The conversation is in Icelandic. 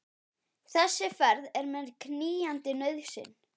Þessi ferð er mér knýjandi nauðsyn.